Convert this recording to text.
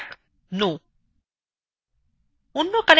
লেখা যাক no